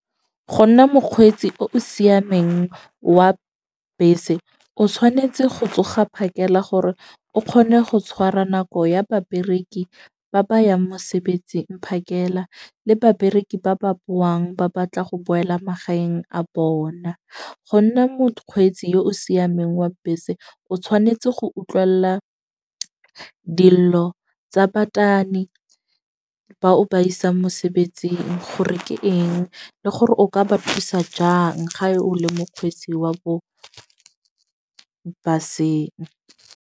Go nna mokgweetsi o o siameng wa bese, o tshwanetse go tsoga phakela gore o kgone go tshwara nako ya babereki ba bayang mosebetsing phakela le babereki, ba ba boang ba batla go boela magaeng a bona. Go nna mokgweetsi yo o siameng wa bese o tshwanetse go utlwella dillo tsa batani ba o ba isa mosebetsing, gore ke eng le gore o ka ba thusa jang ga e o le mokgwetsi wa bo baseng.